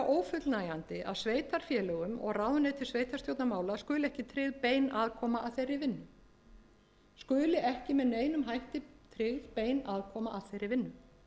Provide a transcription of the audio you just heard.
ófullnægjandi að sveitarfélögum og ráðuneytum sveitarstjórnarmála skuli ekki tryggð bein aðkoma að þeirri vinnu skuli ekki með neinum hætti tryggð nein aðkoma að þeirri vinnu